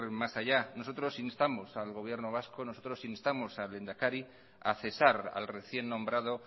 más allá nosotros instamos al gobierno vasco nosotros instamos al lehendakari a cesar al recién nombrado